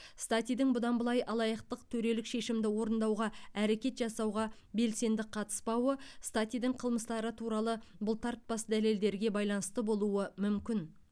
статидің бұдан былай алаяқтық төрелік шешімді орындауға әрекет жасауға белсенді қатыспауы статидің қылмыстары туралы бұлтартпас дәлелдерге байланысты болуы мүмкін